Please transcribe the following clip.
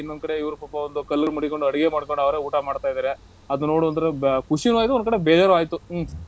ಇನ್ನೊಂದ್ ಕಡೆ ಇವ್ರು ಪಾಪ ಒಂದು ಕಲ್ಲನ್ ಮಡಿಕ್ಕೊಂಡ್ ಅಡಿಗೆ ಮಾಡ್ಕೊಂಡ್ ಅವ್ರೇ ಊಟ ಮಾಡ್ತಾ ಇದ್ದಾರೆ. ಅದುನ್ ನೋಡಿದ್ರೆ ಬ~ ಖುಷಿನೂ ಆಯ್ತು ಒಂದ್ ಕಡೆ ಬೇಜಾರೂ ಆಯ್ತು ಹ್ಮ್.